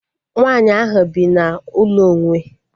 Nwaanyị ahu bi na ụlọ onwe